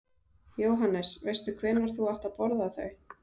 Jóhannes: Veistu hvenær þú átt að borða þau?